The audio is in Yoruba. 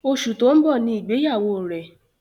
Oṣù tó ń bọ̀ Ni ìgbéyàwó rẹ̀.